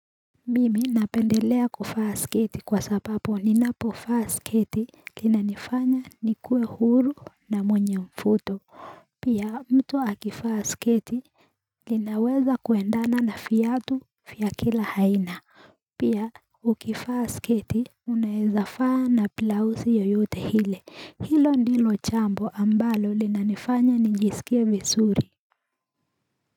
Mimi napendelea kuvaa sketi kwa sababu ninapovaa sketi linanifanya nikue huru na mwenye mvuto Pia mtu akivaa sketi linaweza kuendana na viatu vya kila aina Pia ukivaa sketi unaezavaa na blouse yoyote ile. Hilo ndilo jambo ambalo linanifanya nijisikie vizuri.